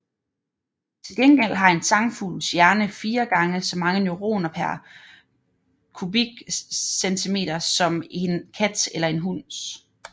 Til gengæld har en sangfugls hjerne fire gange så mange neuroner pr cm3 som en kats eller en hunds